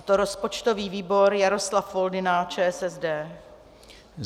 A to rozpočtový výbor Jaroslav Foldyna, ČSSD.